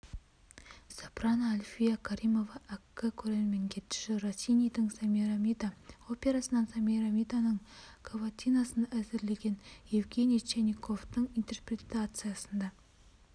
сопрано альфия каримова әккі көрерменге дж россинидің семирамида операсынан семирамиданың каватинасын әзірлеген евгений чайниковтың интерпретациясында